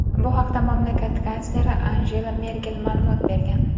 Bu haqda mamlakat kansleri Angela Merkel ma’lumot bergan.